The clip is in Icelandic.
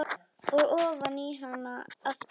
Og ofan í hana aftur.